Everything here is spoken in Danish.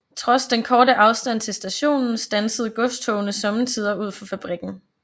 Trods den korte afstand til stationen standsede godstogene sommetider ud for fabrikken